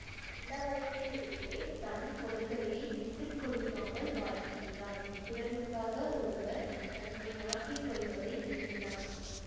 இளவயதில் இருந்தே தன் கொள்கையை விட்டு கொடுக்காமல் வாழ்கின்றான் பிறருக்காக ஒருவர் தன்னை மாற்றி கொள்வதை வெறுக்கிறான்